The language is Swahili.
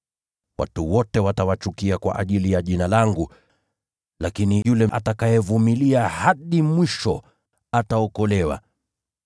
Watu wote watawachukia kwa ajili ya Jina langu. Lakini yule atakayevumilia hadi mwisho ataokolewa.